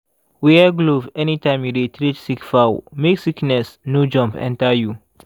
wear glove anytime you dey treat sick fowl make sickness no jump enter you.